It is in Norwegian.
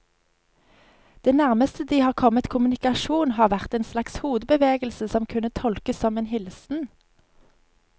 Det nærmeste de har kommet kommunikasjon, har vært en slags hodebevegelse som kunne tolkes som en hilsen.